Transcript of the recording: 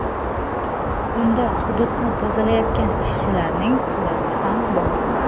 Unda hududni tozalayotgan ishchilarning surati ham bor.